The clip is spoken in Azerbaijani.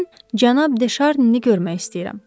Mən cənab De Şarnini görmək istəyirəm.